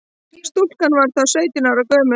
Stúlkan var þá sautján ára gömul